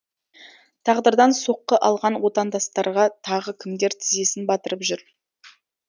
тағдырдан соққы алған отандастарға тағы кімдер тізесін батырып жүр